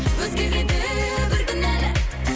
өзгереді бір күні әлі